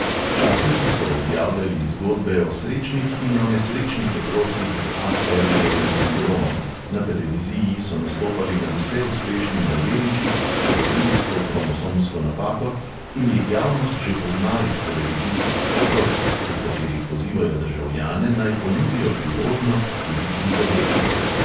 Časniki so objavljali zgodbe o srečnih in o nesrečnih otrocih z aspergerjevim sindromom, na televiziji so nastopali nadvse uspešni mladeniči, ki so se rodili s to kromosomsko napako in jih javnost že pozna iz televizijskih spotov, v katerih pozivajo državljane, naj ponudijo priložnost tudi prizadetim.